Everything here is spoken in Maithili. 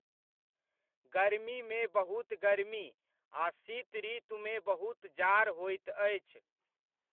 गरमीमे बहुत गरमी आ शीतऋतुमे बहुत जाड़ होइत अछि।